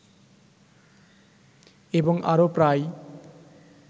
এবং আরো প্রায়